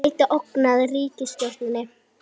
Gæti ógnað ríkisstjórninni